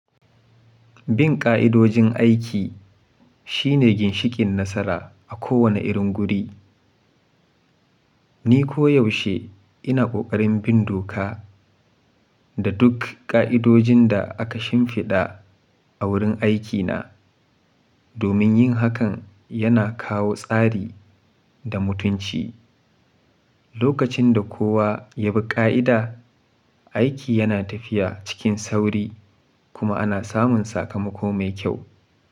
Bin ƙa'idojin aiki shine ginshikin nasara a kowane irin guri. Ni koyaushe ina ƙoƙarin bin doka da duk ƙa'idojin da aka shimfiɗa a wurin aikina, domin yin hakan yana kawo tsari da mutunci. Lokacin da kowa ya bi ƙa'ida, aiki yana tafiya cikin sauri kuma ana samun sakamako mai kyau.